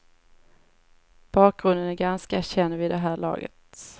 Bakgrunden är ganska känd vid det här laget.